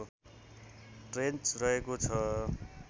trench रहेको छ